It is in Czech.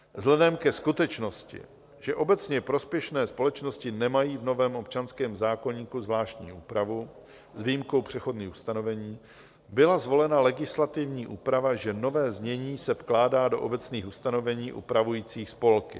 Vzhledem ke skutečnosti, že obecně prospěšné společnosti nemají v novém občanském zákoníku zvláštní úpravu s výjimkou přechodných ustanovení, byla zvolena legislativní úprava, že nové znění se vkládá do obecných ustanovení upravujících spolky.